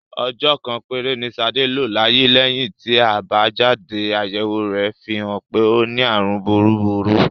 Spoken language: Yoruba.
Ọjọ́ kan péré ni Ṣadé lò láyé lẹ́yìn tí àbájáde-àyẹ̀wò rẹ̀ fi hàn pé ó ní àrùn búburú.